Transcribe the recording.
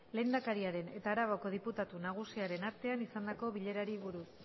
lehendakariaren eta arabako diputatu nagusiaren artean izandako bilerari buruz